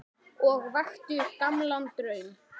Og vakti upp gamlan draum.